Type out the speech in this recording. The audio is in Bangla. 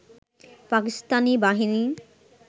পাকিস্তানি বাহিনী